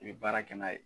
I bɛ baara kɛ n'a ye